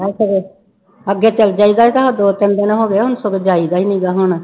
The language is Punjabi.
ਅੱਗੇ ਚਲੇ ਜਾਈਦਾ ਸੀ ਤੇ ਦੋ ਤਿੰਨ ਦਿਨ ਹੋ ਗਏ ਆ ਹੁਣ ਸਗੋਂ ਜਾਈਦਾ ਹੀ ਨੀਗਾ ਹੁਣ।